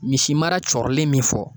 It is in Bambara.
Misi mara cɔɔrilen min fɔ